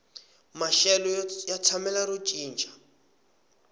maxelo ya tshamela ro cinca